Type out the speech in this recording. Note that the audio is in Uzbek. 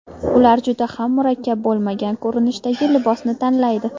Ular juda ham murakkab bo‘lmagan ko‘rinishdagi libosni tanlaydi.